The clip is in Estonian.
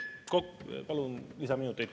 Palun kolm lisaminutit.